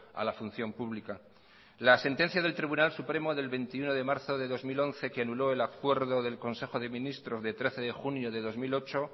a la función pública la sentencia del tribunal supremo del veintiuno de marzo de dos mil once que anuló el acuerdo del consejo de ministros de trece de junio de dos mil ocho